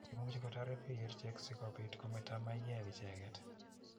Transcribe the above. Imuchi kotaret piik kerichek si kopit kometa maiyek icheget.